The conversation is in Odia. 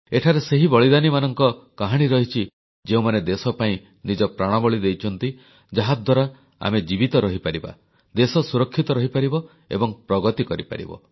ଏଠାରେ ସେହି ବଳିଦାନୀମାନଙ୍କ କାହାଣୀ ରହିଛି ଯେଉଁମାନେ ଦେଶ ପାଇଁ ନିଜ ପ୍ରାଣବଳି ଦେଇଛନ୍ତି ଯାହାଦ୍ୱାରା ଆମେ ଜୀବିତ ରହିପାରିବା ଦେଶ ସୁରକ୍ଷିତ ରହିପାରିବ ଏବଂ ପ୍ରଗତି କରିପାରିବ